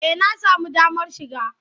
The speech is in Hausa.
Eh na samu damar shiga.